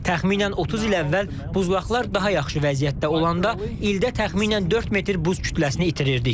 Təxminən 30 il əvvəl buzlaqlar daha yaxşı vəziyyətdə olanda ildə təxminən 4 metr buz kütləsini itirirdik.